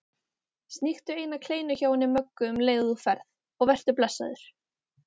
Sníktu eina kleinu hjá henni Möggu um leið og þú ferð og vertu blessaður